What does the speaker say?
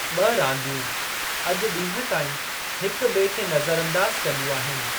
ॿ रांदियूं अॼु ॾींहं ताईं हिक ॿिए खे नज़र अंदाज़ु कंदियूं आहिनि।